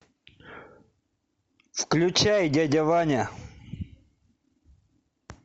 включай дядя ваня